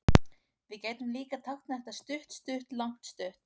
Við gætum líka táknað þetta stutt-stutt-langt-stutt.